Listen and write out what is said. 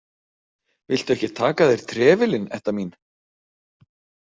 Viltu ekki taka af þér trefilinn, Edda mín?